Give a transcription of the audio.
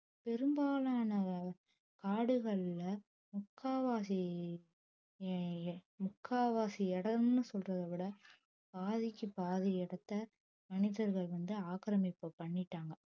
பெரும்பாலான காடுகள்ல முக்காவாசி ஆஹ் முக்கால்வாசி இடம்னு சொல்றதே விட பாதிக்கு பாதி இடத்தை மனிதர்கள் வந்து ஆக்கிரமிப்பு பண்ணிட்டாங்க